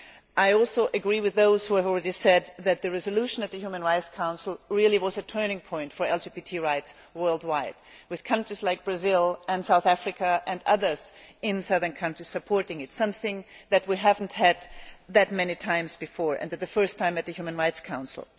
I also agree with those who have already said that the resolution at the Human Rights Council really was a turning point for LGBT rights worldwide, with countries like Brazil and South Africa and others in southern countries supporting it. This is something that we have not had that many times before, and it was the first time at the Human Rights Council.